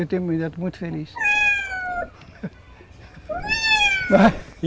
Eu tenho meus netos muito felizes.